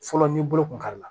Fɔlɔ ni bolo kun kari la